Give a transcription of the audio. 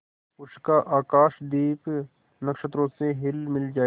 उसका आकाशदीप नक्षत्रों से हिलमिल जाए